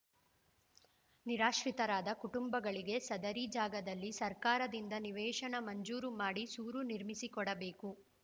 ನಿರಾಶ್ರಿತರಾದ ಕುಟುಂಬಗಳಿಗೆ ಸದರಿ ಜಾಗದಲ್ಲಿ ಸರ್ಕಾರದಿಂದ ನಿವೇಶನ ಮಂಜೂರು ಮಾಡಿ ಸೂರು ನಿರ್ಮಿಸಿಕೊಡಬೇಕು